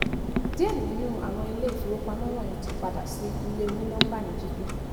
díẹ̀ nínú àwọn ilé ìfowópamọ́ wọnyí ti yí padà sí ilé òní-nọ́ḿbà ní kíkún